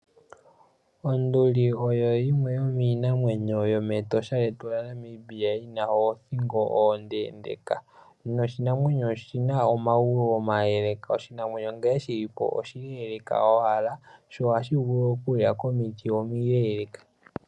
Onduli oyo yimwe yomiinamwenyo yo mEtosha lyetu lyaNamibia yina othingo ondendeka, noshinamwenyo shika oshina omagulu omaleleka. Oshinamwenyo shika nkene shili po oshile owala, sho ohashi vulu okulya komiti omileleka.